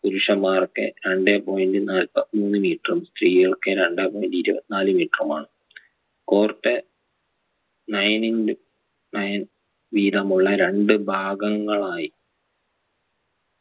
പുരുഷന്മാർക്ക് രണ്ടേ point നാല്പത്തിമൂന്ന് metre ഉം സ്ത്രീകൾക്ക് രണ്ടേ point ഇരുപത്തിനാല് metre ഉമാണ് court nine intonine വീതമുള്ള രണ്ട് ഭാഗങ്ങളായി